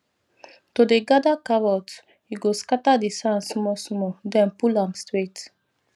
to dey gather carrot you go scatter the sand small small then pull am straight